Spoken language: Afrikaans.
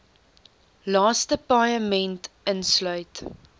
laaste paaiement insluit